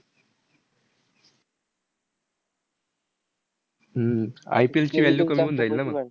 हम्म IPL ची value कमी होऊन जाईल ना मंग.